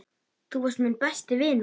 Þú varst minn besti vinur.